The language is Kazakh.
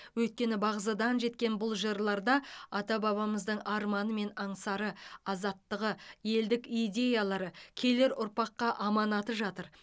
өйткені бағзыдан жеткен бұл жырларда ата бабамыздың арманы мен аңсары азаттығы елдік идеялары келер ұрпаққа аманаты жатыр